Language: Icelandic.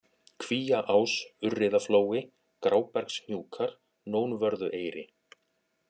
Kvíaás, Urriðaflói, Grábergshnjúkar, Nónvörðueyri